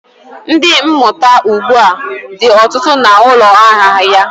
Ndi, mmụta ugbu a dị ọtụtụ na ụlọ ahịa ya